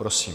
Prosím.